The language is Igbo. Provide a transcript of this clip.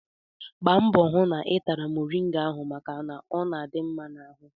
Gbaa mbọ hụ na ị tata moriga ahụ maka na ọ dị mma n'ahụ!